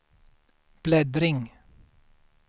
bläddring